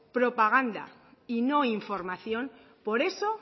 propaganda y no información por eso